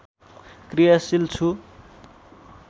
कृयाशील छु